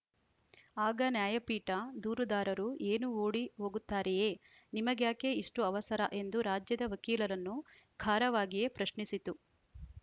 ಆಗ ನ್ಯಾಯಪೀಠ ದೂರುದಾರರು ಏನು ಓಡಿ ಹೋಗುತ್ತಾರೆಯೇ ನಿಮಗ್ಯಾಕೆ ಇಷ್ಟುಅವಸರ ಎಂದು ರಾಜ್ಯದ ವಕೀಲರನ್ನು ಖಾರವಾಗಿಯೇ ಪ್ರಶ್ನಿಸಿತು